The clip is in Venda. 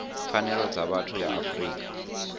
pfanelo dza vhathu ya afrika